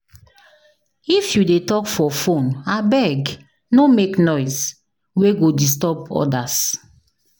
If you dey talk for phone, abeg no make noise wey go disturb others.